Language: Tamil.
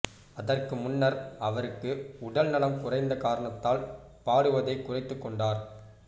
அதற்கு முன்னர் அவருக்கு உடல் நலம் குறந்த காரணத்தால் பாடுவதை குறைத்துக்கொண்டார்